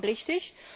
Vollkommen richtig!